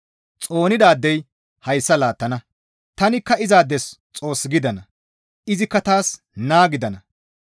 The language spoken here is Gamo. Xoonidaadey hayssa laattana; tanikka izaades Xoos gidana; izikka taas naa gidana.